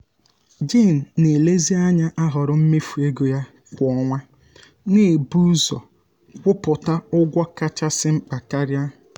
jen na-elezianya ahoro mmefu ego ya kwa ọnwa na-ebu ụzọ um kwụpụta um ụgwọ kachasi mkpa karia